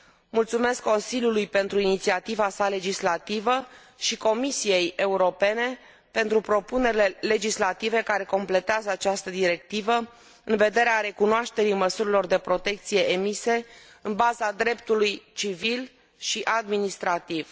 Mulțumesc Consiliului pentru inițiativa sa legislativă și Comisiei europene pentru propunerile legislative care completează această directivă în vederea recunoașterii măsurilor de protecție emise în baza dreptului civil și administrativ.